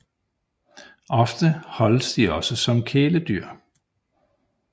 Ofte holdes de også som kæledyr